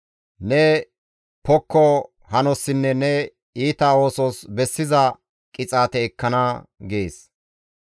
Ne pokko hanossinne ne iita oosos bessiza qixaate ekkana» gees.